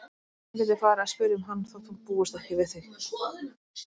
Hún geti farið að spyrja um hann þótt hún búist ekki við því.